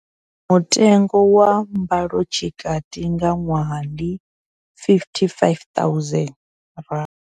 Mutengo wa mbalotshikati nga ṅwaha ndi R55 000.